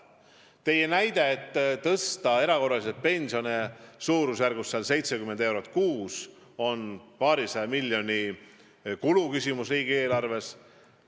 Te väitsite, et tõsta erakorraliselt pensione 70 eurot kuus tähendab paarisaja miljoni euro suurust kulu riigieelarves.